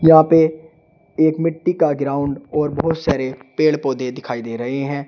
वहां पे एक मिट्टी का ग्राउंड और बहुत सारे पेड़ पौधे दिखाई दे रहे हैं।